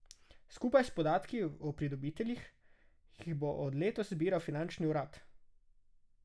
Skupaj s podatki o pridobiteljih jih bo od letos zbiral finančni urad.